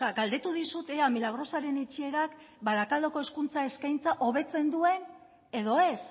galdetu dizut ea milagrosaren itxierak barakaldoko hezkuntza eskaintza hobetzen duen edo ez